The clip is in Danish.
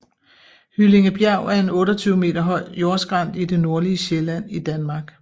Hyllingebjerg er en 28 meter høj jordskrænt i det nordlige Sjælland i Danmark